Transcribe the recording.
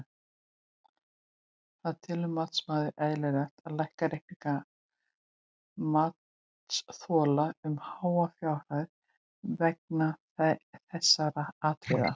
Hvað telur matsmaður eðlilegt að lækka reikninga matsþola um háa fjárhæð vegna þessara atriða?